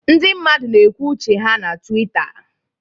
Ndị mmadụ na-ekwu uche ha na Twitter